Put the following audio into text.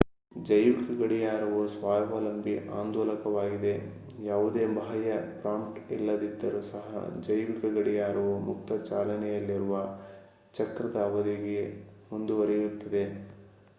ಜೈವಿಕ ಗಡಿಯಾರವು ಸ್ವಾವಲಂಬಿ ಆಂದೋಲಕವಾಗಿದೆ ಯಾವುದೇ ಬಾಹ್ಯ ಪ್ರಾಂಪ್ಟ್ ಇಲ್ಲದಿದ್ದರೂ ಸಹ ಜೈವಿಕ ಗಡಿಯಾರವು ಮುಕ್ತ ಚಾಲನೆಯಲ್ಲಿರುವ ಚಕ್ರದ ಅವಧಿಗೆ ಮುಂದುವರಿಯುತ್ತದೆ